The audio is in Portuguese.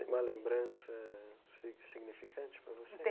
Uma lembrança si significante para você?